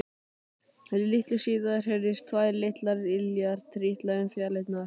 Litlu síðar heyrðust tvær litlar iljar trítla um fjalirnar.